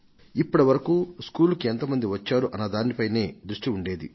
ఇప్పటి వరకు స్కూలుకు ఎంత మంది వచ్చారు అన్న దాని పైనే దృష్టి ఉండేది